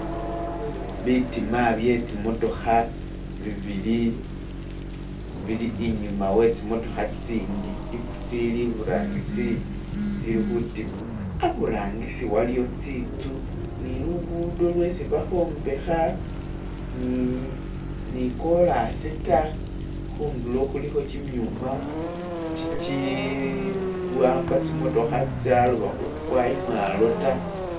bitima byetsimotoha bibili bili inyuma wetsimotoha tsitsindi tsili iburangisi tsili hutima, aburangisi waliyo tsintsu ni lugudo isibahombeha nikolasi ta hundulo huliho kyimyuma kyikyiwamba tsimotoha tsaloba hukwa imwalo ta